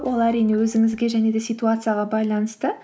ол әрине өзіңізге және де ситуацияға байланысты